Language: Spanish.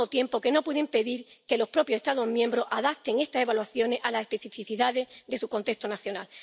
Y, al mismo tiempo, que no pueda impedir que los propios Estados miembro adapten estas evaluaciones a las especificidades de su contexto nacional.